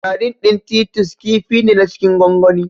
Sardin ɗin Titus kifi ne na cikin gwangwani.